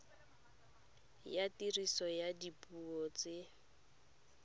ya tiriso ya dipuo tse